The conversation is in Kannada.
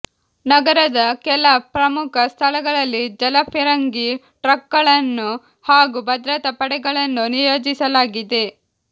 ನಗರದ ಕೆಲ ಪ್ರಮುಖ ಸ್ಥಳಗಳಲ್ಲಿ ಜಲಫಿರಂಗಿ ಟ್ರಕ್ಗಳನ್ನು ಹಾಗೂ ಭದ್ರತಾ ಪಡೆಗಳನ್ನು ನಿಯೋಜಿಸಲಾಗಿದೆ